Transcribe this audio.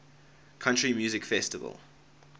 country music festival